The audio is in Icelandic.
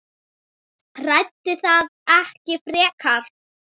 Ræddi það ekki frekar.